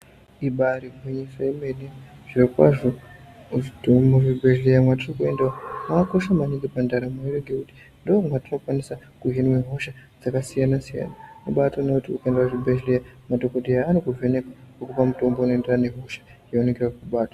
Ibari gwinyiso yemene, zvirokwazvo muzvibhedhleya mwatiri kuenda mwakakosha maningi pandaramo yedu ngekuti ndoomatinokwanise kuhinwe hosha dzakasiyana-siyana. Wobatoone kuti ukaenda kuchibhedhleya, madhokodheya anokuvheneka okupa mutombo unoenderana nehosha yavanenge vakubata.